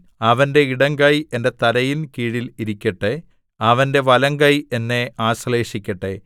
അവന്റെ ഇടംകൈ എന്റെ തലയിൻ കീഴിൽ ഇരിക്കട്ടെ അവന്റെ വലംകൈ എന്നെ ആശ്ലേഷിക്കട്ടെ